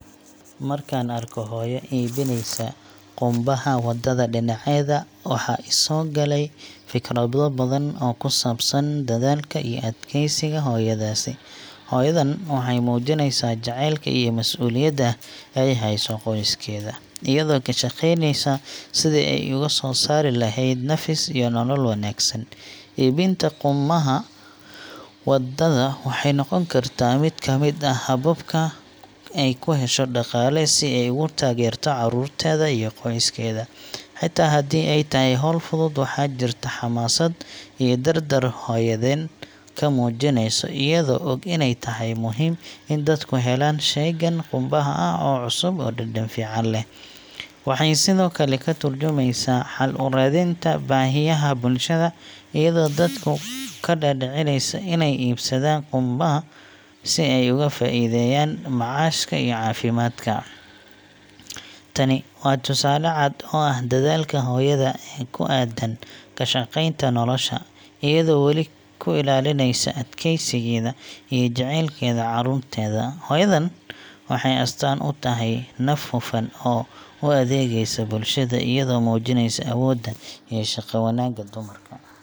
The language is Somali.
Markaan arko hooyo iibinaysa qummanaha waddada dhinaceeda, waxaa i soo galay fikrado badan oo ku saabsan dadaalka iyo adkaysiga hooyadaasi. Hooyadan waxay muujinaysaa jacaylka iyo masuuliyadda ay u hayso qoyskeeda, iyadoo ka shaqaynaysa sidii ay ugu soo saari lahayd nafis iyo nolol wanaagsan. Iibinta qummanaha waddada waxay noqon kartaa mid ka mid ah hababka ay ku hesho dhaqaale si ay ugu taageerto carruurteeda iyo qoyskeeda. Xitaa haddii ay tahay hawl fudud, waxaa jirta xamaasad iyo dardar hooyadan ku muujinayso, iyadoo og inay tahay muhiim in dadku helaan sheygan qummanaha ah oo cusub oo dhadhan fiican leh. Waxay sidoo kale ka turjumaysaa xal u raadinta baahiyaha bulshada, iyadoo dadka ka dhaadhicinaysa inay iibsadaan qummanaha si ay uga faa'iideystaan macaashka iyo caafimaadka. Tani waa tusaale cad oo ah dadaalka hooyada ee ku aaddan ka shaqeynta nolosha, iyadoo weli ku ilaalinaysa adkaysigeeda iyo jaceylkeeda carruurteeda. Hooyadan waxay astaan u tahay naf hufan oo u adeegaysa bulshada, iyadoo muujinaysa awoodda iyo shaqo-wanaagga dumarka.